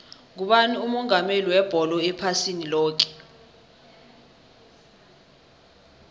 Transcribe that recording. ngubani umongameli webholo ephasini loke